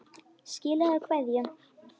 Skilaðu kveðju.